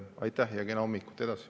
Aitäh ja kena hommikut!